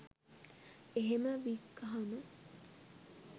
එහෙම වික්කහම